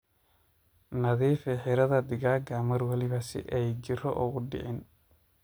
Nadhiifi xiradhaa digaaga marwalbo si ay jiiro ogudiciin.